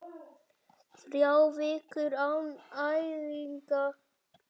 Þrjár vikur án æfinga?